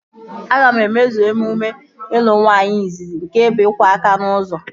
Aga m emezu emume ịlụ nwaanyị izizi nke bụ iku aka n'ụzọ